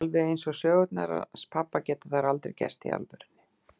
Alveg eins og sögurnar hans pabba geta þær aldrei gerst í alvörunni.